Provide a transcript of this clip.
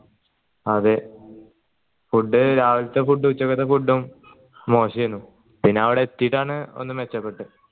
അതെ food രാവിൽത്ത food ഉം ഉച്ച കത്ത food ഉം മോശെന് പിന്നെ അവിടെ എത്തീട്ടാണ് ഒന്ന് മെച്ചപ്പെട്ടത്